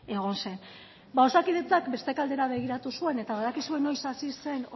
egon zen ba osakidetzak beste aldera begiratu zuen eta badakizue noiz hasi zen